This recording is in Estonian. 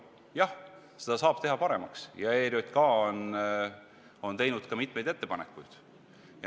Jah, seda tööd saab teha paremaks ja ERJK on selleks ka mitmeid ettepanekuid teinud.